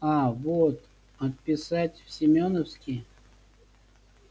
аа вот отписать в семёновский